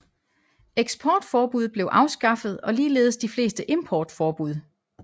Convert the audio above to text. Eksportforbud blev afskaffet og ligeledes de fleste importforbud